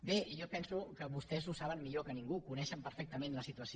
bé jo penso que vostès ho saben millor que ningú coneixen perfectament la situació